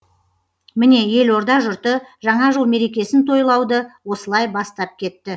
міне елорда жұрты жаңа жыл мерекесін тойлауды осылай бастап кетті